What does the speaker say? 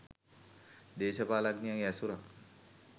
දේශපාලනඥයන්ගේ ඇසුරක්